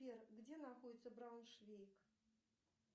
сбер где находится брауншвейг